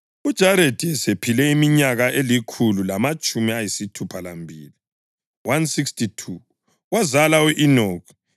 UJaredi esephile iminyaka elikhulu lamatshumi ayisithupha lambili (162), wazala u-Enoki.